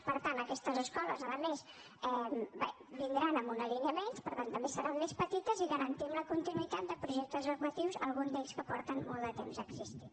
per tant aquestes escoles a més vindran amb una línia menys per tant també seran més petites i garantim la continuïtat de projectes educatius alguns d’ells que porten molt de temps existint